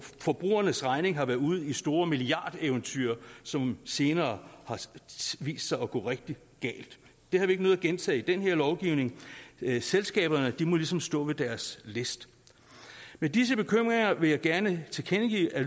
forbrugernes regning har været ude i store milliardeventyr som senere har vist sig at gå rigtig galt det har vi ikke nødig at gentage i den her lovgivning selskaberne må ligesom stå ved deres læst med disse bekymringer vil jeg gerne tilkendegive at